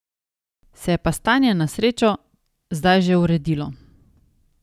Se je pa stanje na srečo zdaj že uredilo.